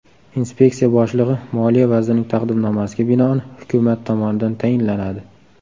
Inspeksiya boshlig‘i Moliya vazirining taqdimnomasiga binoan Hukumat tomonidan tayinlanadi.